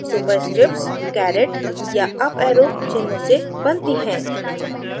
superscripts caret या up arrow चिन्ह से बनती हैं